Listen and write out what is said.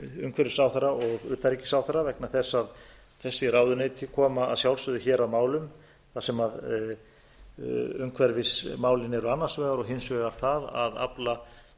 umhverfisráðherra og utanríkisráðherra vegna þess að þessi ráðuneyti koma að sjálfsögðu hér að málum þar sem umhverfismálin eru annars vegar og hins vegar það að afla